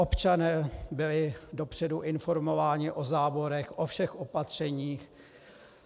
Občané byli dopředu informováni o záborech, o všech opatřeních.